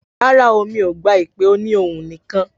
Rárá o, mi ò gba ìpè òní ohùn nìkan